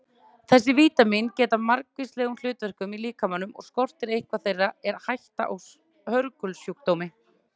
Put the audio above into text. Þessi vítamín gegna margvíslegum hlutverkum í líkamanum og skorti eitthvert þeirra er hætta á hörgulsjúkdómi.